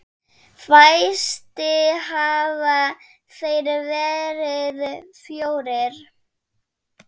Fæstir hafa þeir verið fjórir.